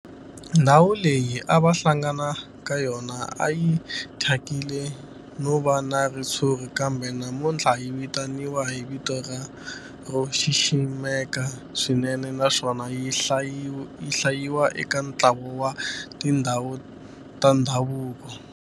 Ndhawu leyi a va hlangana ka yona a yi thyakile no va na ritshuri kambe namuntlha yi vitaniwa hi vito ro xiximeka swinene naswona yi hlayiwa eka ntlawa wa tindhawu ta ndhavuko.